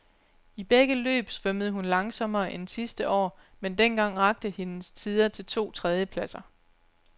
I begge løb svømmede hun langsommere end sidste år, men dengang rakte hendes tider til to tredjepladser.